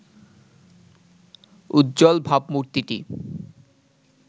উজ্জ্বল ভাবমূর্তিটি